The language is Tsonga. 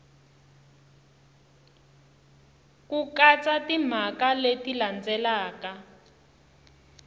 ku katsa timhaka leti landzelaka